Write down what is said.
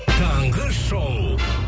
таңғы шоу